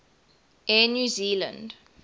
air new zealand